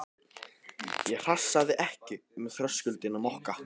Ég hrasaði ekki um þröskuldinn á Mokka.